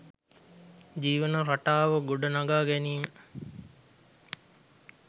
ජීවන රටාව ගොඩ නඟා ගැනීම